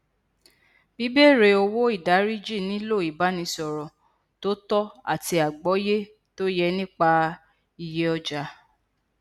bíbéèrè owó ìdáríjì nilo ibanisọrọ tó tọ ati agbọye to ye nipa iye ọja